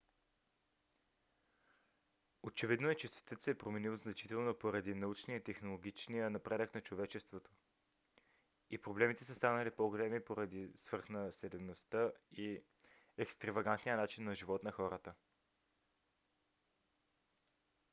очевидно е че светът се е променил значително поради научния и технологичния напредък на човечеството и проблемите са станали по-големи поради свръхнаселеността и екстравагантния начин на живот на хората